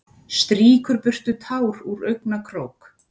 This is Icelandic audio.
Strýkur burtu tár úr augnakrók.